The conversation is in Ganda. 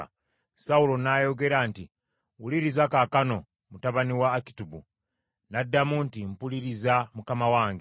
Sawulo n’ayogera nti, “Wuliriza kaakano, mutabani wa Akitubu.” N’addamu nti, “Mpuliriza mukama wange.”